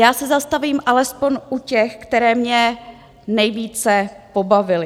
Já se zastavím alespoň u těch, které mě nejvíce pobavily.